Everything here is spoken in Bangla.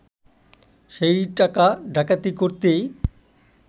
সেই টাকা ডাকাতি করতেই